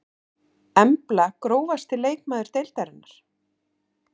Embla Grófasti leikmaður deildarinnar?